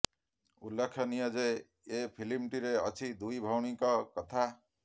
ଉଲ୍ଲେଖନୀୟ ଯେ ଏ ଫିଲ୍ମଟିରେ ଅଛି ଦୁଇ ଭଉଣୀଙ୍କ କଥା